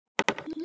Gas sem leysir